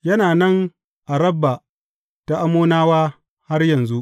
Yana nan a Rabba ta Ammonawa har yanzu.